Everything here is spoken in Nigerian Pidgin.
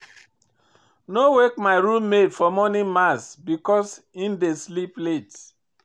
No wake my room mate for morning mass because im dey sleep late.